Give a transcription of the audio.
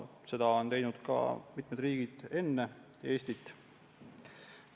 Seda on teinud mitmed riigid enne Eestit.